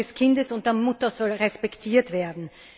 Die Gesundheit des Kindes und der Mutter soll respektiert werden.